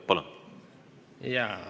Palun!